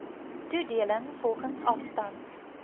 toedeling volgens afstand